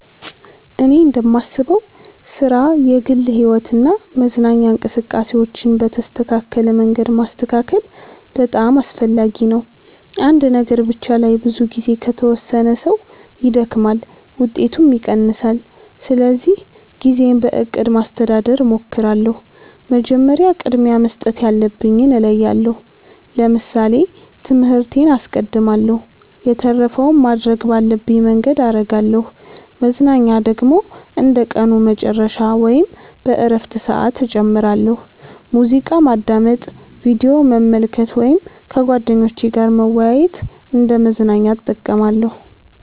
እኔ እንደማስበው ሥራ፣ የግል ሕይወት እና መዝናኛ እንቅስቃሴዎችን በተስተካከለ መንገድ ማስተካከል በጣም አስፈላጊ ነው። አንድ ነገር ብቻ ላይ ብዙ ጊዜ ከተወሰነ ሰው ይደክማል፣ ውጤቱም ይቀንሳል። ስለዚህ ጊዜን በእቅድ ማስተዳደር እሞክራለሁ። መጀመሪያ ቅድሚያ መስጠት ያለብኝን እለያለሁ ለምሳሌ ትምህርቴን አስቀድማለሁ የተረፈውን ማድረግ ባለብኝ መንገድ አረጋለሁ መዝናኛ ደግሞ እንደ ቀኑ መጨረሻ ወይም በእረፍት ሰዓት እጨምራለሁ። ሙዚቃ ማዳመጥ፣ ቪዲዮ መመልከት ወይም ከጓደኞች ጋር መወያየት እንደ መዝናኛ እጠቀማለሁ።